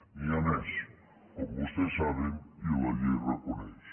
n’hi ha més com vostès saben i la llei reconeix